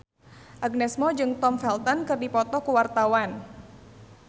Agnes Mo jeung Tom Felton keur dipoto ku wartawan